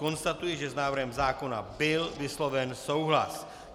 Konstatuji, že s návrhem zákona byl vysloven souhlas.